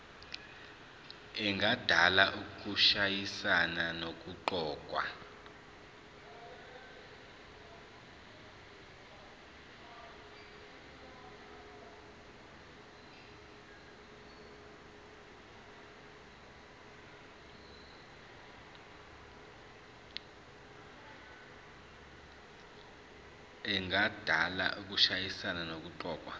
engadala ukushayisana nokuqokwa